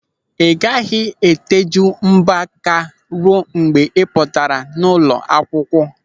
Ị gaghị eteju mbọ aka ruo mgbe ị pụtara n'ụlọ akwụkwọ.